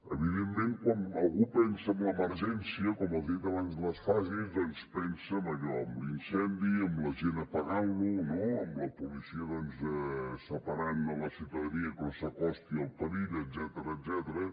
evidentment quan algú pensa en l’emergència com els he dit abans de les fases doncs pensa en allò en l’incendi en la gent apagant lo no en la policia separant la ciutadania que no s’acosti al perill etcètera